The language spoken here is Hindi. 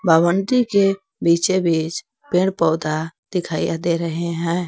भवंति के बीचे बीच पेड़ पौधा दिखाई दे रहे हैं।